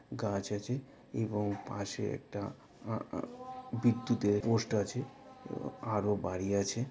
গাছ আছে এবং পশে একটা আ আ বিদ্যুতের পোস্ট আছে। আরো বাড়ি আছে।